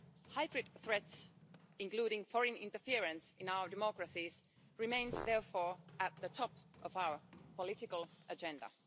Hybrid threats, including foreign interference in our democracies, remain, therefore, at the top of our political agenda.